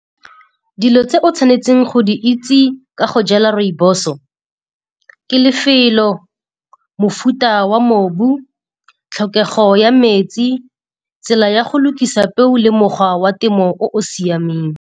Dilo tse o tshwanetseng go di itse ka go jala rooibos-o ke lefelo, mofuta wa mobu, tlhokego ya metsi, tsela ya go lokisa peo le mokgwa wa temo o o siameng.